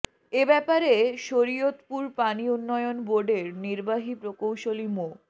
এ ব্যাপারে শরীয়তপুর পানি উন্নয়ন বোর্ডের নির্বাহী প্রকৌশলী মো